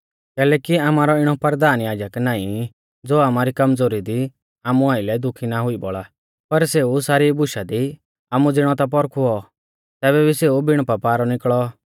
कैलैकि आमारौ इणौ परधान याजक नाईं ज़ो आमारी कमज़ोरी दी आमु आइलै दुखी ना हुई बौल़ा पर सेऊ सारी बुशा दी आमु ज़िणौ ता पौरखुऔ तैबै भी सेऊ बिण पापा रौ निकल़ौ